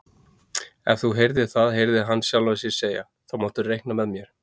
Ef þú ert það heyrði hann sjálfan sig segja, þá máttu reikna með mér